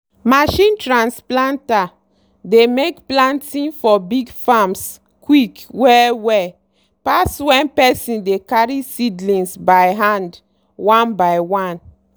machine trans planter dey make planting for big farms quick well-well pass when person dey carry seedlings by hand one by one.